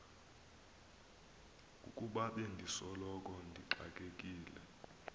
ukuba bendisoloko ndixakekile